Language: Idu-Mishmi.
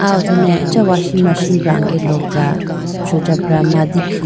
aw ho done acha washing machine brange lopra sujabra mandikhi.